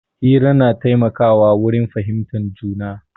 Hira na taimaka wa wurin fahimtar juna.